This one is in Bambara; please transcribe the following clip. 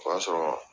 O y'a sɔrɔ